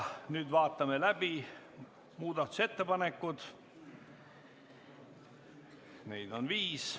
Nüüd vaatame läbi muudatusettepanekud, neid on viis.